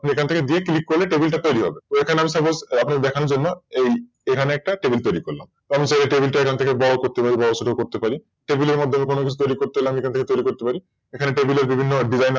আপনি এখান থেকে যে Click করলে Table তৈরি হবে তো আমি এখানে Suppose আপনার দেখানোর জন্য এই এখানে একটা Table তৈরি করলাম আমি চাইলে এই Table এখান থেকে বড় ছোট করতে পারি Table টার মধ্যে কোন কিছু তৈরি করতে হলে তৈরি করতে পারি এখানে বিভিন্ন Dressing আছে।